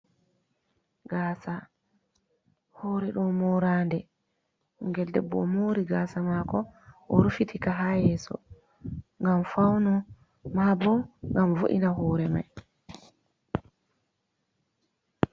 Gasa hore ɗo morande. Ɓingel debbo o'mori gasa mako o'rufitika ha yeso ngam fauno ma bo ngam vo’ina hore mai.